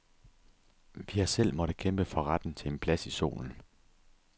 Vi har selv måttet kæmpe for retten til en plads i solen.